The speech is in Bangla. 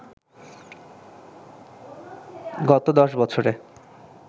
গত দশ বছরে